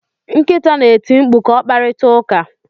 Nkịta na-eti mkpu ka o kparịta ụka.